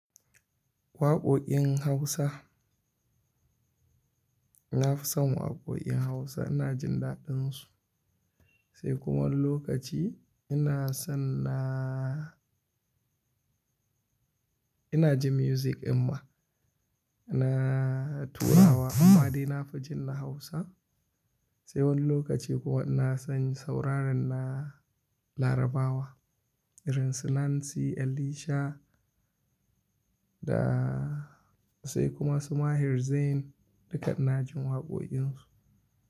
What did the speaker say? Waƙoƙin Hausa. Na fi son waƙoƙin Hausa ina jin daɗin su. Sai kuma wani lokaci ina son na ina ji music in ma ina turawa amma dai na fi jin na Hausa. Sai wani lokaci kuma ina son sauraren na Larabawa irin su Nancy, Alicia da sai kuma su maher Zayn dukka ina jin waƙoƙin su.